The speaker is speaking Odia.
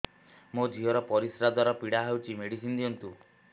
ମୋ ଝିଅ ର ପରିସ୍ରା ଦ୍ଵାର ପୀଡା ହଉଚି ମେଡିସିନ ଦିଅନ୍ତୁ